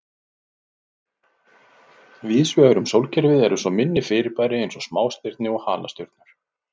Víðsvegar um sólkerfið eru svo minni fyrirbæri eins og smástirni og halastjörnur.